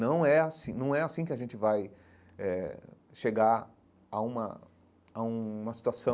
Não é assim não é assim que a gente vai eh chegar a uma a uma situação